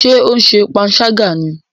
Ṣe o ṣe panṣaga ni?